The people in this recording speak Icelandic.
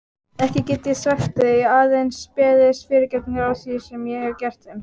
Ekki get ég svæft þau, aðeins beðist fyrirgefningar á því sem ég hef gert þeim.